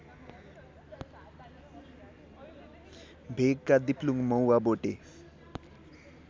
भेगका दिप्लुङ मौवाबोटे